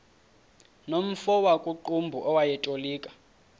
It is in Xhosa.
nomfo wakuqumbu owayetolika